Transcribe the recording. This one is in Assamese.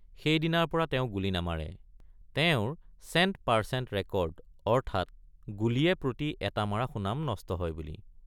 সেইদিনাৰপৰা তেওঁ গুলী নামাৰে তেওঁৰ চেণ্ট পাৰচেণ্ট ৰেকৰ্ড অৰ্থাৎ গুলীয়ে প্ৰতি এটা মাৰা সুনাম নষ্ট হয় বুলি।